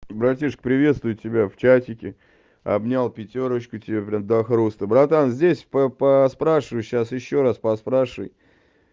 братишка приветствую тебя в чатике обнял пятёрочку тебе блин до хруста братан здесь по поспрашиваю сейчас ещё раз поспрашивай